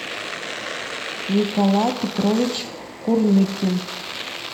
николай петрович курныкин